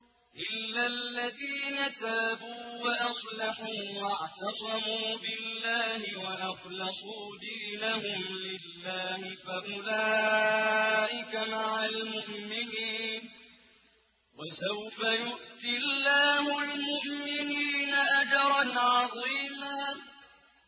إِلَّا الَّذِينَ تَابُوا وَأَصْلَحُوا وَاعْتَصَمُوا بِاللَّهِ وَأَخْلَصُوا دِينَهُمْ لِلَّهِ فَأُولَٰئِكَ مَعَ الْمُؤْمِنِينَ ۖ وَسَوْفَ يُؤْتِ اللَّهُ الْمُؤْمِنِينَ أَجْرًا عَظِيمًا